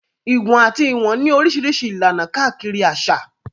Ìwọ̀n àti Ìwọ̀n ní Oríṣiríṣi ìlànà káàkiri àṣà.